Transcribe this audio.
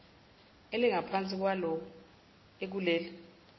elingaphansi kwalawo akuleli